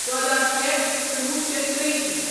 ژۄداہ شےٚ کُنوُہ شیتھ ترٛشیٖتھ